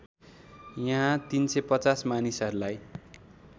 यहाँ ३५० मानिसहरूलाई